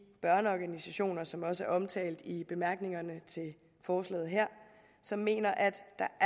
børneorganisationer som også er omtalt i bemærkningerne til forslaget her som mener at